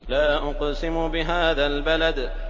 لَا أُقْسِمُ بِهَٰذَا الْبَلَدِ